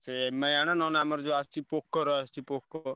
ସେ Mi ଆଣ ନ ନାଇଁ ଆମର ଯଉ ଆସୁଚି POCO ର ଆସୁଚି POCO